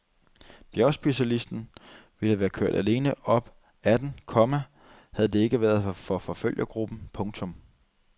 Bjergspecialisten ville være kørt alene op ad den, komma havde det ikke været for forfølgergruppen. punktum